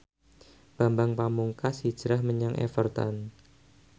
Bambang Pamungkas hijrah menyang Everton